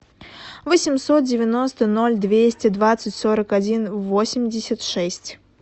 восемьсот девяносто ноль двести двадцать сорок один восемьдесят шесть